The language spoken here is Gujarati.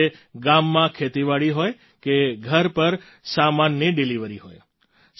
પછી તે ગામમાં ખેતીવાડી હોય કે ઘર પર સામાનની ડિલિવરી હોય